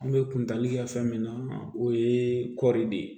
An bɛ kuntali kɛ fɛn min na o ye kɔɔri de ye